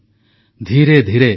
ଏଥର ବହୁତ କିଛି ଆରମ୍ଭ ହୋଇସାରିଛି